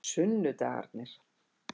sunnudagarnir